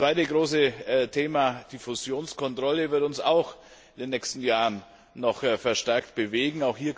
Das zweite große Thema, die Fusionskontrolle, wird uns auch in den nächsten Jahren noch verstärkt bewegen.